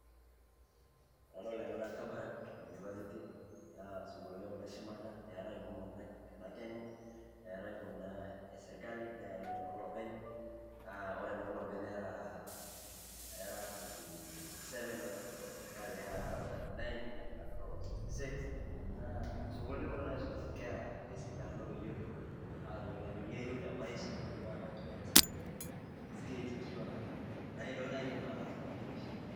Enadol ena naa Kabarak University, naa sukuuluni kuna eshumata naa eetae nkumok tena Kenya, eetai kuna e sirkali neetae inoloopeny a ore inoloopeny nera twenty-seven ore ine sirkali nera around thirty-nine ni make a total of around of sixty-six. Sukuuluni kuna naisoma nkera te sidano peyie etum atayiolo ajo nyoo eyeu te maisha netum atayioloito naa sininje skills ashu a ntokitin naidim ataas tena maisha.